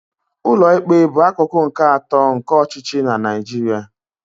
Ụlọikpe bụ akụkụ nke atọ nke ọchịchị na Naijiria.